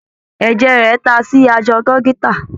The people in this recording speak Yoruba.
Ẹ̀jẹ̀ rẹ̀ ta sí aṣọ dọ́kítà.